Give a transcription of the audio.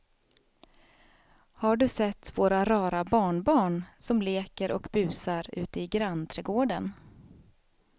Har du sett våra rara barnbarn som leker och busar ute i grannträdgården!